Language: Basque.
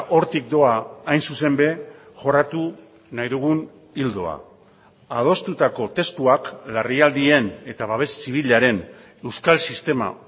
hortik doa hain zuzen ere jorratu nahi dugun ildoa adostutako testuak larrialdien eta babes zibilaren euskal sistema